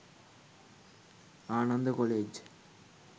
Ananda college